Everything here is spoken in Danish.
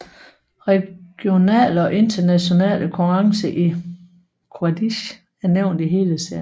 Regionale og internationale konkurrencer i Quidditch er nævnt i hele serien